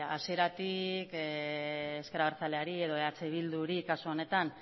hasieratik ezker abertzaleari edo eh bilduri kasu honetan